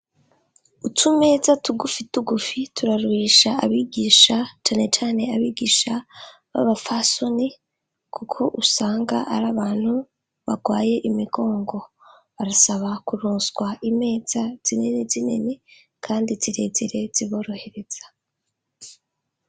Utumeza tugufitugufi turaruhisha abigisha canecane abigisha b'abafasoni kuko usanga ar'abantu bagwaye imigongo. Barasaba kuroswa imeza zinini zinini kandi zirezire ziborohereza.